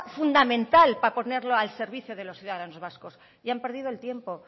fundamental para ponerlo al servicio de los ciudadanos vascos y han perdido el tiempo